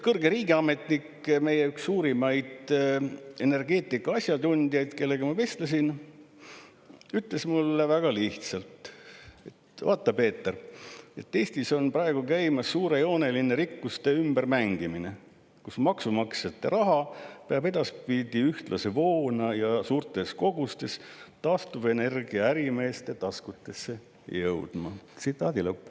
" Kõrge riigiametnik, meie üks suurimaid energeetika asjatundjaid, kellega ma vestlesin, ütles mulle väga lihtsalt: "Vaata, Peeter, Eestis on praegu käimas suurejooneline rikkuste ümbermängimine, kus maksumaksjate raha peab edaspidi ühtlase voona ja suurtes kogustes taastuvenergia ärimeeste taskutesse jõudma.